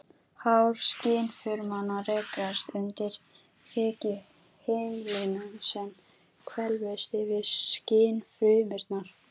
Hár skynfrumanna rekast undir þekjuhimnuna sem hvelfist yfir skynfrumurnar.